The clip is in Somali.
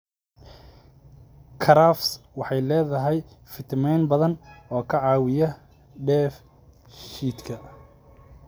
Karafs waxay leedahay fiitamiinnada badan oo ka caawiya dheef-shiidka.